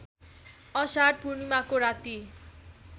अषाढ पूर्णिमाको राती